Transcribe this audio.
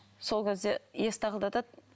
сол кезде есікті тақылдатады